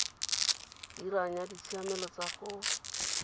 dirang ya ditshiamelo tsa go